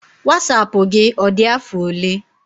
Wasapụ gị, ọ dị afọ ole?